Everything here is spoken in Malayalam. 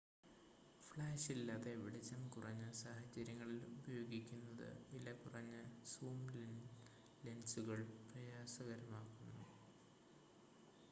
ഫ്ലാഷില്ലാതെ വെളിച്ചം കുറഞ്ഞ സാഹചര്യങ്ങളിൽ ഉപയോഗിക്കുന്നത് വിലകുറഞ്ഞ സൂം ലെൻസുകൾ പ്രയാസകരമാക്കുന്നു